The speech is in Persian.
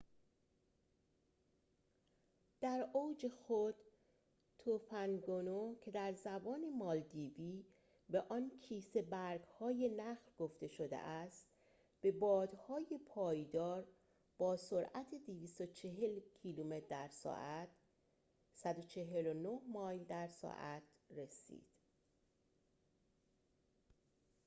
در اوج خود، توفند گونو، که در زبان مالدیوی به آن کیسه برگ‌های نخل گفته شده است، به بادهای پایدار با سرعت 240 کیلومتر در ساعت 149 مایل در ساعت رسید